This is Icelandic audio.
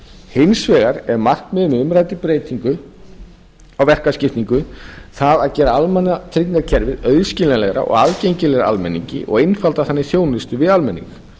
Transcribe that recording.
hins vegar er markmið með umræddri breytingu á verkaskiptingu það að gera almannatryggingakerfið auðskiljanlegra og aðgengilegra almenningi og einfalda þannig þjónustu við almenning